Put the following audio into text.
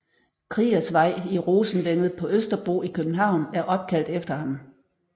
Kriegers Vej i Rosenvænget på Østerbro i København er opkaldt efter ham